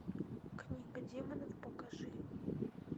книга демонов покажи